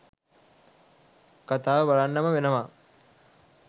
කතාව බලන්නම වෙනවා.